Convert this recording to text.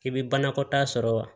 I bɛ banakɔta sɔrɔ wa